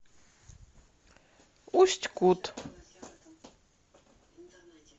усть кут